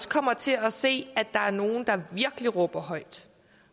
kommer til at se at der er nogle der virkelig råber højt